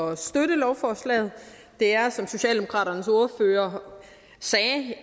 at støtte lovforslaget det er som socialdemokraternes ordfører sagde